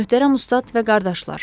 Möhtərəm ustad və qardaşlar.